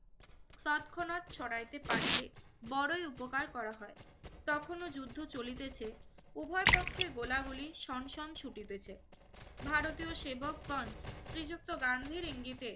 তৎক্ষণাৎ সরাইতে পারিলে বড়ই উপকার করা হয়। তখনও যুদ্ধ চলিতেছে। উভয়পক্ষে গোলাগুলি শন শন ছুটিতেছে। ভারতীয় সেবকগণ শ্রীযুক্ত গান্ধীর ইঙ্গিতে